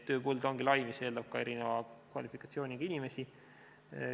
Tööpõld on lai, mis eeldab ka erineva kvalifikatsiooniga inimesi.